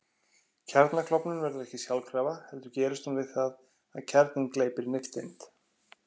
Kjarnaklofnun verður ekki sjálfkrafa heldur gerist hún við það að kjarninn gleypir nifteind.